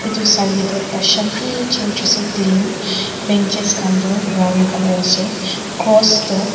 etu saileh du ekta shanti church asey clean benches khan du brown colour asey cross du--